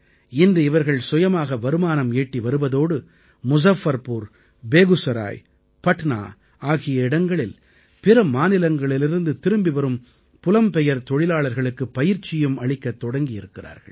இன்று இவர்கள் சுயமாக வருமானம் ஈட்டி வருவதோடு முஸஃபர்புர் பேகுசராய் பட்னா ஆகிய இடங்களில் பிற மாநிலங்களிலிருந்து திரும்பி வரும் புலம்பெயர் தொழிலாளர்களுக்குப் பயிற்சியும் அளிக்கத் தொடங்கி இருக்கிறார்கள்